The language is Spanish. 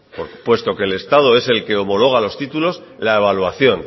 puesto que el estado es el que homologa los títulos la evaluación